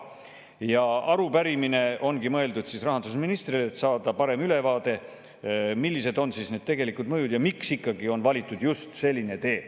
Arupärimine ongi mõeldud rahandusministrile, et saada parem ülevaade, millised on need tegelikud mõjud ja miks on ikkagi valitud just selline tee.